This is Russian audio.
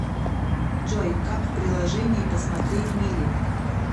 джой как в приложении посмотреть мили